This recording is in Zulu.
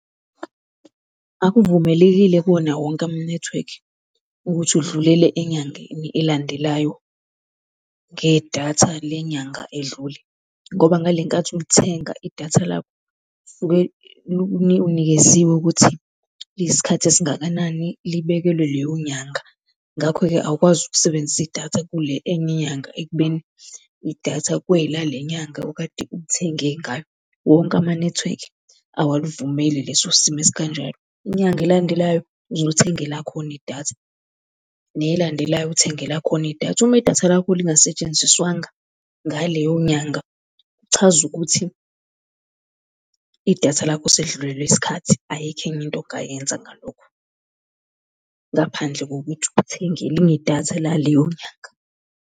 Akuvumelekile kuwona wonke ama-network ukuthi udlulele enyangeni elandelayo ngedatha le nyanga edlule. Ngoba ngale nkathi ulithenga idatha lakho unikeziwe ukuthi liyisikhathi esingakanani, libekelwe leyo nyanga. Ngakho-ke awukwazi ukusebenzisa idatha kule enye inyanga ekubeni idatha kwelale nyanga okade ulithenge ngayo. Wonke ama-network awulivumeli leso simo esikanjalo. Inyanga elandelayo uzolithenga elakhona idatha, nelandelayo uthenge elakhona idatha. Uma idatha lakho lingasetshenziswanga ngaleyo nyanga, kuchaza ukuthi idatha lakho selidlulelwe yisikhathi. Ayikho enye into ongayenza ngalokho ngaphandle kokuthi uthenge elinye idatha laleyo nyanga.